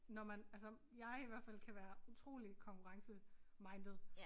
Når man altså jeg i hvert fald kan være utrolig konkurrencemindet